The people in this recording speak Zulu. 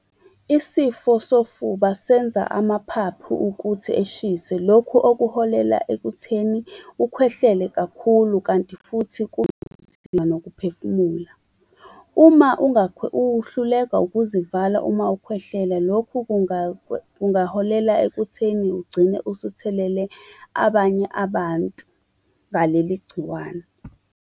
Isifo sofuba senza amaphaphu ukuthi eshise lokhu okuholela ekutheni ukhwehlele kakhulu, kanti futhi kunzima nokuphefumula. Uma uhluleka ukuzivala uma ukhwehlela, lokhu kungaholela ekutheni ugcine usuthelele abanye abantu ngaleli igciwane.